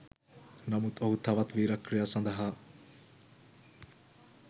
නමුත් ඔහු තවත් වීරක්‍රියා සඳහා